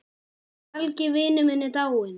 Helgi vinur minn er dáinn.